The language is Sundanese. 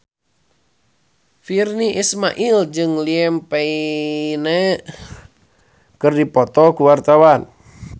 Virnie Ismail jeung Liam Payne keur dipoto ku wartawan